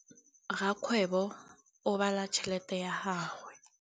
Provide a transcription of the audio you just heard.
Rakgwêbô o bala tšheletê ya gagwe.